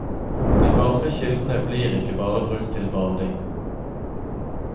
De varme kildene blir ikke bare brukt til bading.